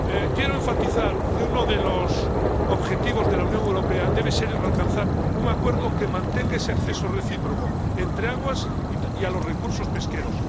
Quiero enfatizar que uno de los objetivos de la Unión Europea debe ser alcanzar un acuerdo que mantenga ese acceso recíproco entre aguas y a los recursos pesqueros.